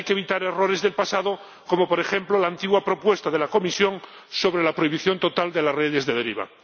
Hay que evitar errores del pasado como, por ejemplo, la antigua propuesta de la Comisión sobre la prohibición total de las redes de deriva.